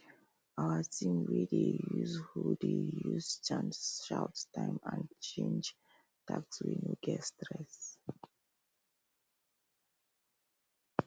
our team wey dey use hoe dey use chant shout time and change tasks wey no get stress